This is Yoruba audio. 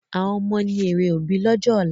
Àwọn ọmọ ni èrè òbí lọ́jọ́ ọ̀la